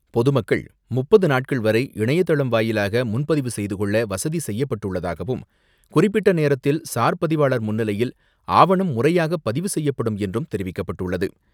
பொதுமக்கள் முப்பது நாட்கள் வரை இணையதளம் வாயிலாக முன்பதிவு செய்துகொள்ள வசதி செய்யப்பட்டுள்ளதாகவும், குறிப்பிட்ட நேரத்தில் சார் பதிவாளர் முன்னிலையில் ஆவணம் முறையாக பதிவு செய்யப்படும் என்றும் தெரிவிக்கப்பட்டுள்ளது.